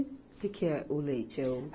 O que que é o leite? É o